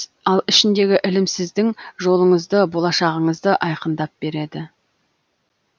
ал ішіндегі ілім сіздің жолыңызды болашағыңызды айқындап береді